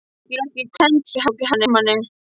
Þau voru ekki kennd hjá Hermanni.